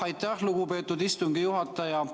Aitäh, lugupeetud istungi juhataja!